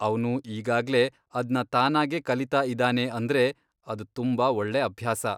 ಅವ್ನು ಈಗಾಗ್ಲೇ ಅದ್ನ ತಾನಾಗೇ ಕಲೀತಾ ಇದಾನೆ ಅಂದ್ರೆ ಅದ್ ತುಂಬಾ ಒಳ್ಳೆ ಅಭ್ಯಾಸ.